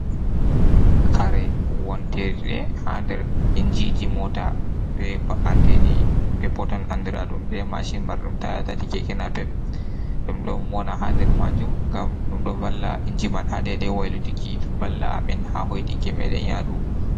Kare wontirɗe haa nder injiji moota be ba’anteeji peppoton, anndraaɗum be maacin, marɗum taaya tati keeke napep. Ɗum ɗon wona haa nder maajum, ngam ɗum ɗo valla inji man, haa deydey waylituki balla a min, haa hoytinki meeɗen yaadu.